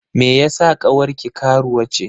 Me yeasa ƙawarki karuwa ce?